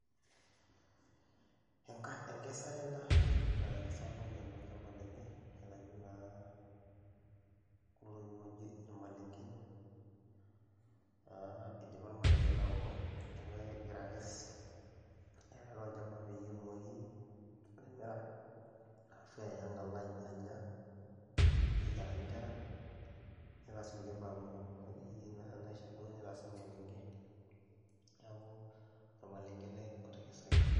Enka enkesare ena natekesa orpayian olchamba lenye aitayu naa kulo tokitin ooji irmaleng'en naa idipa irmaleng'en aoto, neeku egira akes aitayu tolchamba peyie etumoki atimira arashu eya aang' alo anya, neyiaraki inkera, nitaas nkulie baye kumok akeyie naa naishaakino nitaasi ormaleng'e. Neeku ormaleng'e ele otekesaki.